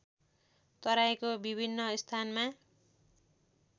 तराईको विभिन्न स्थानमा